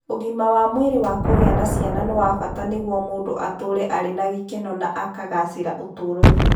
Ũgima wa mwĩrĩ wa kũgĩa na ciana nĩ wa bata nĩguo mũndũ atũũre arĩ na gĩkeno na akagaacĩra ũtũũro-inĩ.